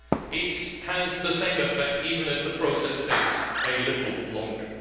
It has the same effect even if the process takes a little longer.